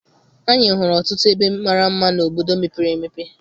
Anyị hụrụ ọtụtụ ebe mara mma n'obodo mepere emepe.